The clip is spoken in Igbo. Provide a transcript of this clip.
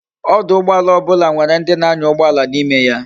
ọdụ̀ụgbọàlà obula nwere ndi na anya ugboala na ime ya